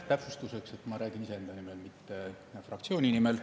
Täpsustuseks, et ma räägin iseenda nimel, mitte fraktsiooni nimel.